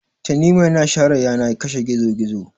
tanimu yana share yana ya kashe gizo gizo